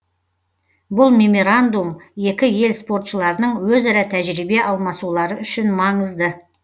бұл меморандум екі ел спортшыларының өзара тәжірибе алмасулары үшін маңызды